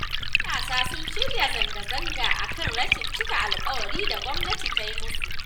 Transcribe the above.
Matasa sun shirya zangazanga a kan rashin cika alƙawarin da gwamnati ta yi musu.